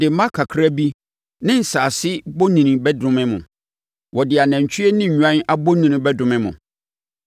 Wɔde mma kakra bi ne nsase bonini bɛdome mo. Wɔde anantwie ne nnwan abonini bɛdome mo.